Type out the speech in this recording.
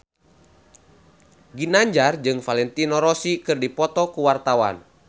Ginanjar jeung Valentino Rossi keur dipoto ku wartawan